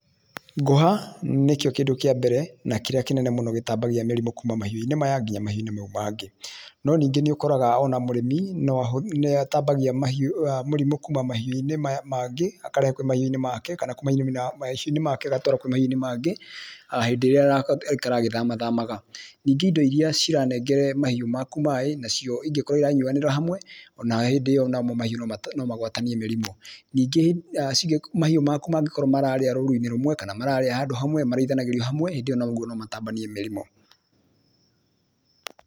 Ngũha nĩkio kĩndũ kĩa mbere a kĩrĩa kĩnene mũno gĩtambagia mĩrimũ kuma mahiũ-inĩ maya nginya mahiũ-inĩ mau mangĩ no ningĩ nĩ ũkoraga ona mũrĩmi no a, nĩ atambagia mahĩũ aa mũrimũ kuma mahiũ-inĩ mangĩ akarehe kwĩ mahiũ-inĩ make akarehe kana kuma mahiũ-inĩ make agatwara mahiũ-inĩ mangĩ hĩndĩ ĩrĩa aikara a gĩthama thamaga, ningĩ indo iria ciaranengera mahiũ maku maĩ nacio ingĩkora iranyuanĩra hamwe onarĩo hĩndĩ ĩyo mahiũ nomagwatanie mĩrimũ, ningĩ mahiũ maku mangĩkorwo mararĩa rũru-inĩ rũmwe kana mararĩa handũ hamwe marithanagĩrio hamwe hĩndĩ ĩyo naguo no matambanie mĩrimũ